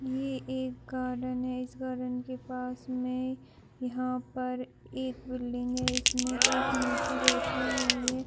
ये एक गार्डन है। इस गार्डन के पास में यहाँ पर एक बिल्डिंग है। इसमें एक मूर्ति बैठी हुई है।